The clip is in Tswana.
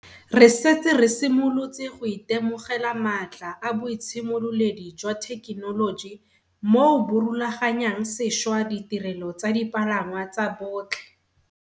Re setse re simolotse go itemogela maatla a boitshimololedi jwa thekenoloji moo bo rulaganyang sešwa ditirelo tsa dipalangwa tsa botlhe.